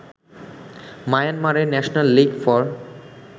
মায়ানমারের national league for